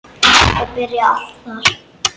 Þetta byrjaði allt þar.